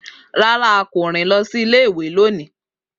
Rara, a ko rin si ile-iwe loni.